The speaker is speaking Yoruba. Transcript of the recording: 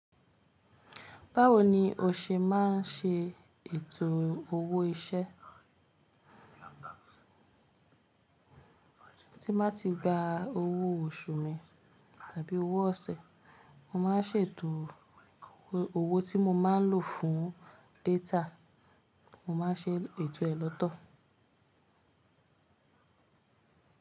Báwo ni o ṣe máa ń ṣe ètò owó iṣẹ́? Tí n bá ti gba owó oṣù mi tàbí owó ọ̀sẹ̀, mo máa ń sèto owó tí mo máa n lò fún data. Mo máa ń ṣe ètò ẹ lọ́tọ̀.